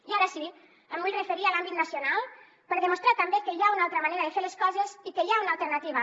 i ara sí em vull referir a l’àmbit nacional per demostrar també que hi ha una altra manera de fer les coses i que hi ha una alternativa